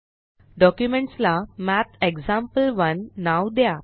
documents ला मॅथेक्सॅम्पल1 नाव द्या